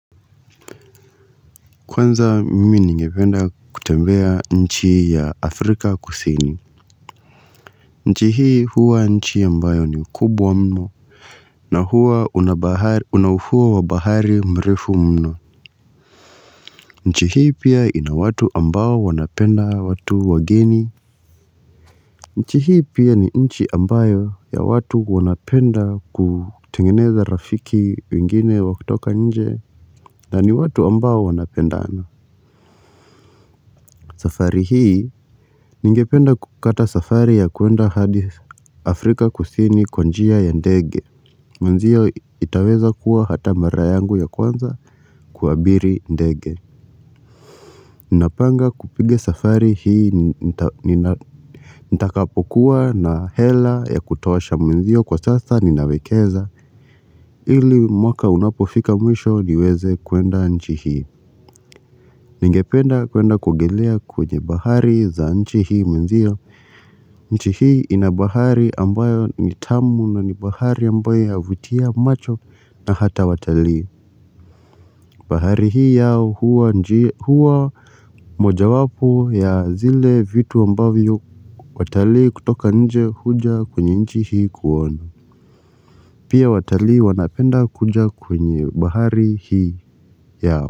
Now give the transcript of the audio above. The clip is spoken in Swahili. Kwanza mimi ningependa kutembea nchi ya Afrika kusini nchi hii huwa nchi ambayo ni kubwa mno na huwa unabahari una ufuo wa bahari mrefu mno nchi hii pia ina watu ambao wanapenda watu wageni nchi hii pia ni nchi ambayo ya watu wanapenda kutengeneza rafiki wengine wakitoka nje na ni watu ambao wanapendana safari hii, ningependa kukata safari ya kuenda hadi Afrika kusini kwa njia ya ndege Mwenzio itaweza kuwa hata marayangu ya kwanza kuabiri ndege Napanga kupiga safari hii nta nina nita kapokuwa na hela ya kutosha mwenzio kwa sasa ninawekeza ili mwaka unapofika mwisho niweze kuenda nchi hii Ningependa kuenda kuogelea kwenye bahari za nchi hii mwenzio nchi hii inabahari ambayo nitamu na nibahari ambayo yavutia macho na hata watali bahari hii yao hua nji huwa moja wapo ya zile vitu ambavyo watalii kutoka nje huja kwenye nchi hii kuona Pia watalii wanapenda kuja kwenye bahari hii yao.